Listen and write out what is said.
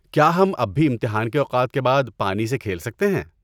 کیا ہم اب بھی امتحان کے اوقات کے بعد پانی سے کھیل سکتے ہیں؟